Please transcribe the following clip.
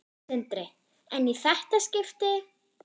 Sindri: En í þetta skipti?